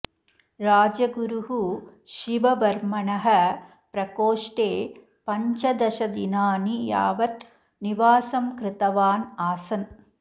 राजगुरुः शिववर्मणः प्रकोष्ठे पञ्चदशदिनानि यावत् निवासं कृतवान् आसन्